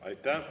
Aitäh!